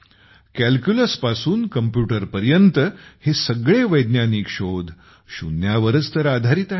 calculus पासून computer पर्यंत हे सगळे वैज्ञानिक शोध शून्यावरच तर आधारित आहेत